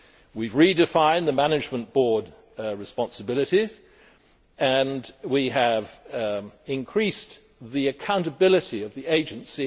We have redefined the management board's responsibilities and increased the accountability of the agency.